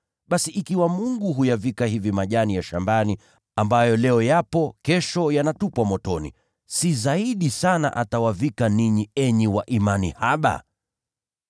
Basi ikiwa Mungu huyavika hivi majani ya shambani, ambayo leo yapo, na kesho yanatupwa motoni, si atawavika ninyi vizuri zaidi, enyi wa imani haba!